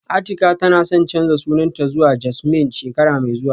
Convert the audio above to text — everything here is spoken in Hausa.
Atika tana son canza sunanta zuwa Jasmine shekara mai zuwa